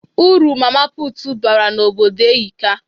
Uru Mama puutu bara n'obodo ehika.